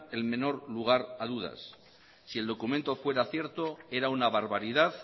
el menor lugar a dudas si el documento fuera cierto era una barbaridad